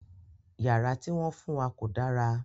Yàrá ti wọn fun wa ko dàrà